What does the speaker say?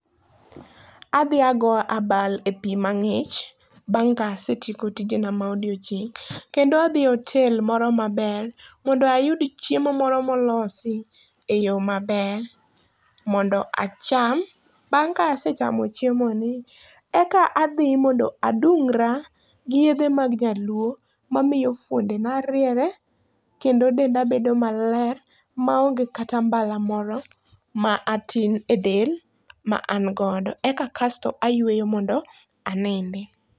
Adhi agoyo abal e pii mangích, bang' ka asetieko tijena mag odiochieng'. Kendo adhi e otel moro maber, mondo ayud chiemo moro molosi, e yo maber, mondo acham. Bang' ka asechamo chiemoni, eka adhi mondo adungra gi yiedhe mag nyaluo, mamiyo fuondena riere, kendo denda bedo maler, maonge kata mbala moro, ma atin e del ma an godo. Eka kasto ayueyo mondo anindi.